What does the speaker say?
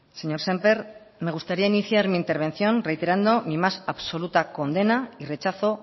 señor sémper me gustaría iniciar mi intervención reiterando mi más absoluta condena y rechazo